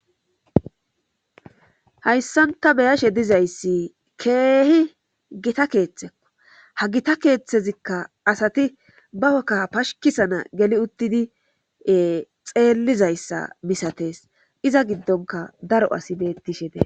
hayssanta beyashe dizayssi keehi gita keeththekko ha gita keeththezikka asati baokka pashikisana geli uttidie xeellizayssa misatees iza giddonka daro asi beettishe dee